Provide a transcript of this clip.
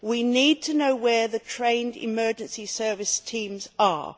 We need to know where the trained emergency service teams are.